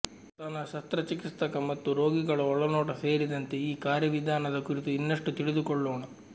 ಸ್ತನ ಶಸ್ತ್ರಚಿಕಿತ್ಸಕ ಮತ್ತು ರೋಗಿಗಳ ಒಳನೋಟ ಸೇರಿದಂತೆ ಈ ಕಾರ್ಯವಿಧಾನದ ಕುರಿತು ಇನ್ನಷ್ಟು ತಿಳಿದುಕೊಳ್ಳೋಣ